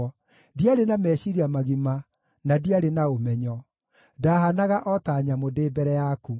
ndiarĩ na meciiria magima, na ndiarĩ na ũmenyo; ndahaanaga o ta nyamũ ndĩ mbere yaku.